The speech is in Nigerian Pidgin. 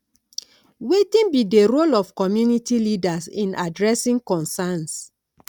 wetin be di role of community leaders in adressing concerns